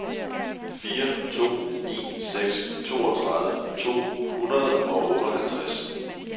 fire to ni seks toogtredive to hundrede og otteoghalvtreds